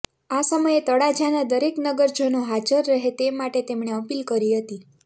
આ સમયે તળાજા ના દરેક નગરજનો હાજર રહે તે માટે તેમણે અપીલ કરી હતી